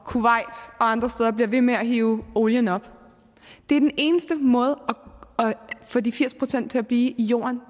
kuwait og andre lande bliver ved med at hive olien op den eneste måde at få de firs procent til at blive i jorden